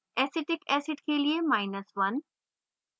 acetic acid के लिए1